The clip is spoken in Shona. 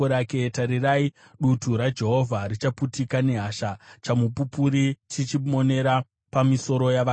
Tarirai, dutu raJehovha richaputika muhasha dzake, chamupupuri chichimona chakananga pamisoro yavakaipa.